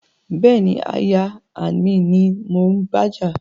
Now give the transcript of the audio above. Bẹ́ẹ̀ni, aya and mi ni mò ń bájà